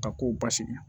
Ka kow basigi